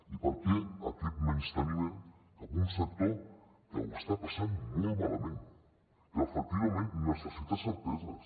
i per què aquest menysteniment cap a un sector que ho està passant molt malament que efectivament necessita certeses